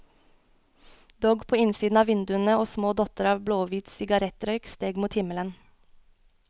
Dogg på innsiden av vinduene og små dotter av blåhvit sigarettrøyk steg mot himmelen.